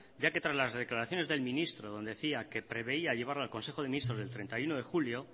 ya que tras las declaraciones del ministro donde decía que preveía llevarlo al consejo de ministros del treinta y uno de julio